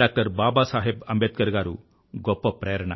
doctor Baba Saheb Ambedkar గారు గొప్ప ప్రేరణ